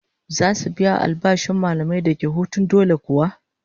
Zasu biya albashin mallamin da yake hutun dole kuwa?